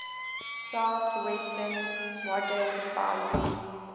southwestern modern boundary